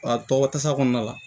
A tɔgɔ tasa kɔnɔna la